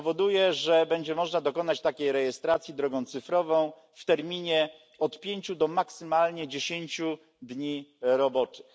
Powoduje, że będzie można dokonać takiej rejestracji drogą cyfrową w terminie od pięciu do maksymalnie dziesięciu dni roboczych.